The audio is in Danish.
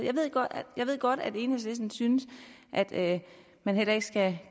jeg ved godt at enhedslisten synes at at man heller ikke skal